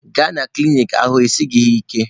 Gbaga na klinik n'ahụ esighi gị ike!